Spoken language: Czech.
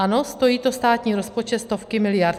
Ano, stojí to státní rozpočet stovky miliard.